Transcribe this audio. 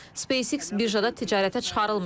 SpaceX birjada ticarətə çıxarılmayıb.